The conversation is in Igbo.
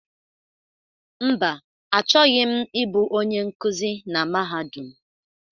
Mba, achọghị m ịbụ onye nkuzi na Mahadum.